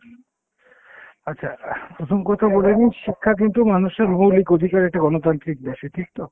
আচ্ছা অ্যাঁ প্রথম কথা বলে নিই শিক্ষা কিন্তু মানুষের মৌলিক অধিকার একটি গণতান্ত্রিক দেশে ঠিক তো?